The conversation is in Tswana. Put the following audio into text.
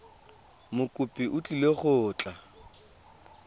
mokopi o tlile go tla